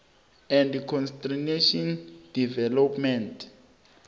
and constitutional development